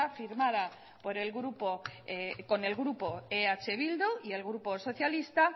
firmada por el grupo con el grupo eh bildu y el grupo socialista